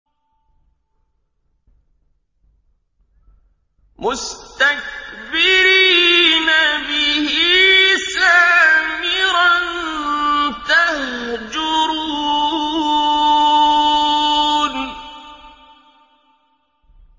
مُسْتَكْبِرِينَ بِهِ سَامِرًا تَهْجُرُونَ